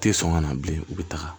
U tɛ sɔn ka na bilen u bɛ taga